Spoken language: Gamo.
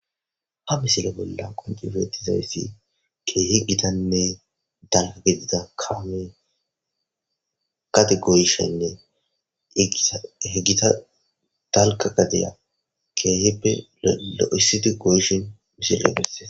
ha misile bolla qonci betizayssi ke'hi gitanne dalgga gedidda kamey gade goyshshenne igiissa gitta dalgga gadiya ke'hippe lo'issidi goyishin misile besees